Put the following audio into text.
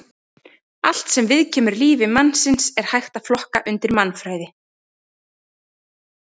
Allt sem viðkemur lífi mannsins er hægt að flokka undir mannfræði.